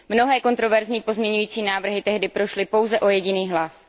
Mnohé kontroverzní pozměňovací návrhy tehdy prošly pouze o jediný hlas.